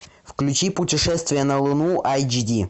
включи путешествие на луну айч ди